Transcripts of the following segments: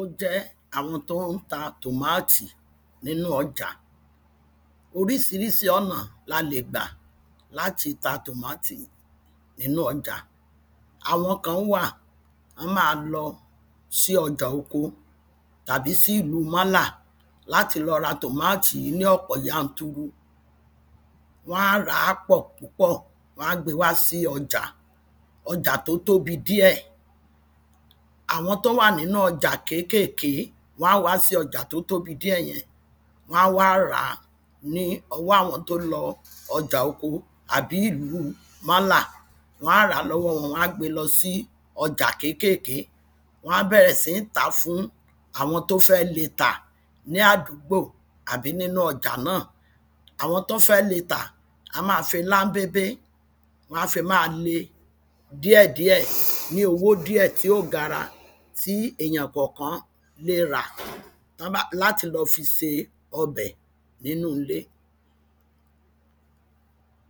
ó jẹ́ àwọn tí ó ń ta tòmátì nínu ọjà oríṣiríṣi ọ̀nà la lè gbà láti ta tòmátì nínu ọjà àwọn kan wọ́n wà wọ́n ma ń lọ sí ọjà oko, tàbí sí ìlu málà, láti lọ ra tòmátì ní ọ̀pọ̀ yanturu wọ́n a ràá pọ̀ púpọ̀ wọ́n a gbé e wá sí ọjà, ọjà tí ó tóbi díẹ̀ àwọn tó wà ní nínu ọjà kékèké, wọ́n wá sí ọjà tí ó tóbi díẹ̀ yẹn wọ́n a wá ràá ni ọwọ́ àwọn tó ń lo ọjà oko àbí ìlu málà, wọ́n á ràá lọ́wọ wọn wọ́n á gbée lọ́ sí ọjà kékèké wọ́n á bẹ̀rẹ̀ sí tàá fún àwọn tí ó fẹ́ lée tà ní àdúgbò àbí nínu ọjà náà, àwọn tí ó fẹ́ léè tà á máa fi láḿbebe, wọ́n a fi máa lée díẹ̀díẹ̀ ní owo díẹ̀ tí ò gara tí èyàn kankan lè rà láti lọ fi se ọbẹ̀ nínu ilé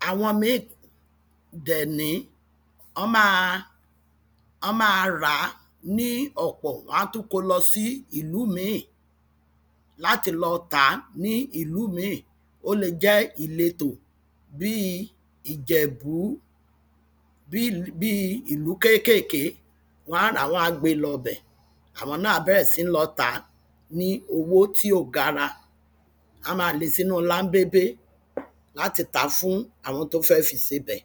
àwọn míì dẹ̀ ní, wọ́n máa ràá ní ọ̀pọ̀, wọ́n á tún kó o lọ sí ìlú mìí láti lọ tà ní ìlú míì ó le jẹ́ ìletò bíi ìjẹ̀bú, bíi ìlú kéèkèkè, wọ́n a ràá wọ́n á gbé e lọ bẹ̀ àwọn náà á bẹ̀rẹ̀ síì lọ tà ní owó tí ò gara wọ́n maá lèé sínu láḿbébé láti tàá fún àwọn tó fẹ́ fi sebẹ̀